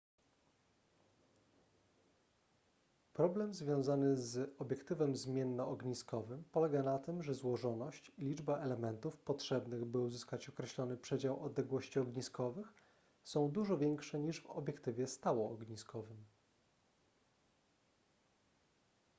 problem związany z obiektywem zmiennoogniskowym polega na tym że złożoność i liczba elementów potrzebnych by uzyskać określony przedział odległości ogniskowych są dużo większe niż w obiektywie stałoogniskowym